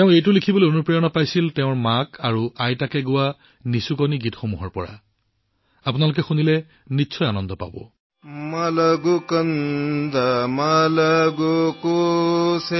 তেওঁ এইটো তেওঁৰ মাক আৰু আইতাৰ দ্বাৰা গোৱা নিচুকনি গীতৰ পৰা লিখিবলৈ অনুপ্ৰেৰণা পাইছিল